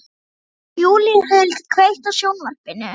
Júlíhuld, kveiktu á sjónvarpinu.